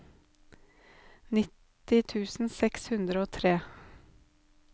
nitti tusen seks hundre og tre